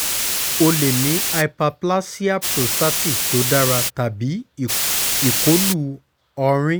o le ni hyperplasia prostatic to dara tabi ikolu ọrin